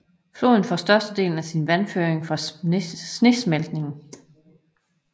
Floden får størstedelen af sin vandføring fra snesmeltning